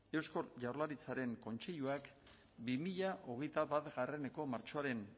eusko jaurlaritzaren kontseiluak bi mila hogeita bateko martxoaren